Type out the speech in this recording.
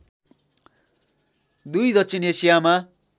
दुई दक्षिण एशियामा